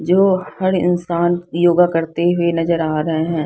जो हर इंसान योगा करते हुए नजर आ रहे है।